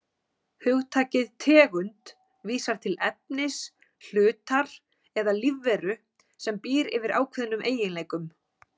Hugtakið tegund vísar til efnis, hlutar eða lífveru sem býr yfir ákveðnum eiginleikum.